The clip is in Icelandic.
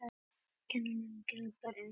Kenna glæpamönnum um sprengingu